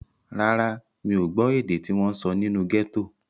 Rárá, mi ò gbọ́ èdè tí wọ́n sọ nínú gẹ́tò.